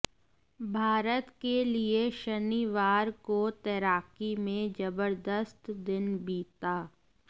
भारत के लिये शनिवार को तैराकी में जबरदस्त दिन बीता